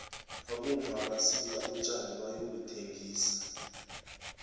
abomma basika utjani bayobuthengisa